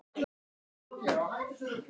Ég skal aðeins minnast á eitt atriði.